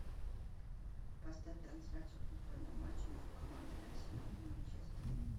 поставь трансляцию футбольного матча между командами арсенал и манчестер